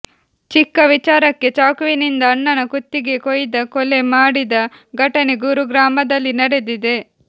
ಚಿಕ್ಕ ವಿಚಾರಕ್ಕೆ ಚಾಕುವಿನಿಂದ ಅಣ್ಣನ ಕುತ್ತಿಗೆ ಕೊಯ್ದು ಕೊಲೆ ಮಾಡಿದ ಘಟನೆ ಗುರುಗ್ರಾಮದಲ್ಲಿ ನಡೆದಿದೆ